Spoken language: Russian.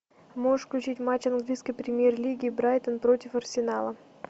можешь включить матч английской премьер лиги брайтон против арсенала